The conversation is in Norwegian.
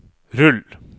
rull